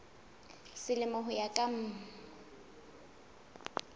selemo ho ya ka mm